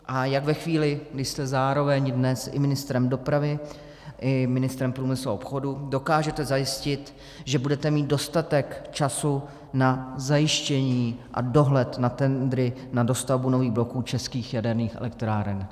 A jak ve chvíli, kdy jste zároveň dnes i ministrem dopravy i ministrem průmyslu a obchodu, dokážete zajistit, že budete mít dostatek času na zajištění a dohled na tendry na dostavbu nových bloků českých jaderných elektráren?